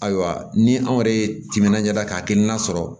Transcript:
Ayiwa ni anw yɛrɛ ye timinaja ka hakilina sɔrɔ